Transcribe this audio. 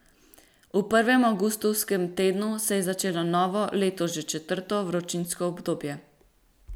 V prvem avgustovskem tednu se je začelo novo, letos že četrto, vročinsko obdobje.